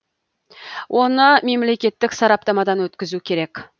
оны мемлекеттік сараптамадан өткізу керек